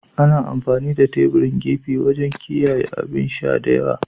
Ana amfani da teburin gefe wajen kiyaye abin sha da waya.